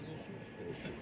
Bismillah olsun.